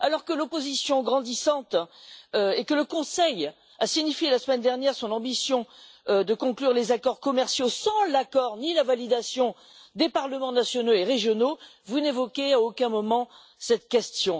Alors que l'opposition grandit et que le Conseil a signifié, la semaine dernière, son ambition de conclure les accords commerciaux sans l'accord ni la validation des parlements nationaux et régionaux, vous n'évoquez à aucun moment cette question.